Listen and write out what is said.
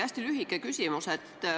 Hästi lühike küsimus.